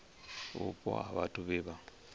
vhupo ha vhathu vhe vha